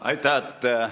Aitäh!